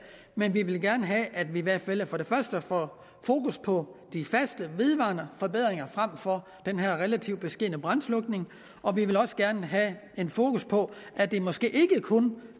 men vi vil gerne have at vi i hvert fald for det første får fokus på de faste vedvarende forbedringer frem for den her relativt beskedne brandslukning og vi vil også gerne have fokus på at det måske ikke kun